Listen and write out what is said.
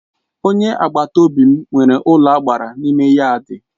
Onye agbata obi m nwere ụlọagbara n'ime yaadi.